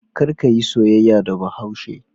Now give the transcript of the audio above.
Kar ka yi soyayya da Bahaushe.